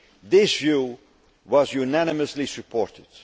mandate. This view was unanimously supported.